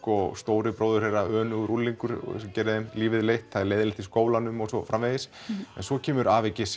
og stóri bróðir þeirra önugur unglingur sem gerir þeim lífið leitt það er leiðinlegt í skólanum og svo framvegis en svo kemur afi